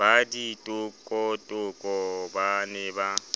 ba ditokotoko ba ne ba